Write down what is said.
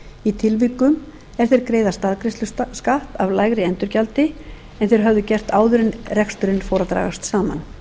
tilvikum er þeir greiða staðgreiðsluskatt af lægra endurgjaldi en þeir höfðu gert áður en reksturinn fór að dragast saman